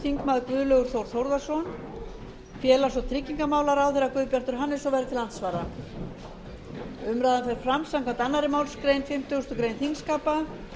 þingmaður guðlaugur þór þórðarson félags og tryggingamálaráðherra guðbjartur hannesson verður til andsvara umræðan fer fram samkvæmt annarri málsgrein fimmtugustu grein þingskapa